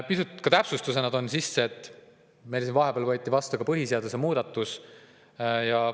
Pisut täpsustamiseks toon sisse, et vahepeal võeti vastu põhiseaduse muudatus.